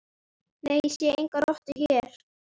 Nei, ég sé enga rottu hér